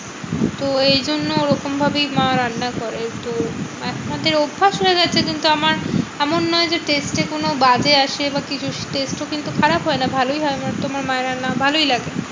তো এই জন্য ওরকম ভাবেই মা রান্না করে একটু। মাঝখানটায় অভ্যাস হয়ে গেছে কিন্তু আমার এমন নয় যে test এ কোনো বাদে আসে বা কিছু। test ও কিন্তু খারাপ হয় না ভালোই হয় আমার তো মায়ের রান্না ভালোই লাগে।